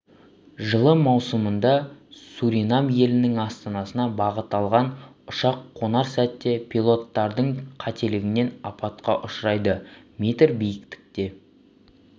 жылы маусымында суринам елінің астанасына бағыт алған ұшақ қонар сәтте пилоттардың қателігінен апатқа ұшырайды метр биіктікте